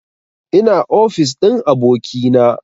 Ina ofis ɗin abokina